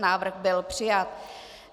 Návrh byl přijat.